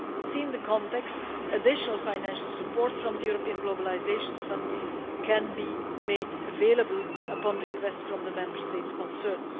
Seeing the context, additional financial support from the European Globalisation Fund can be made available, upon request from the Member States concerned.